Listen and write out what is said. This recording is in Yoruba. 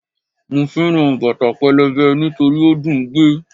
Mo fẹ́ràn bàtà pẹlẹbẹ nítorí ó dùn ún gbé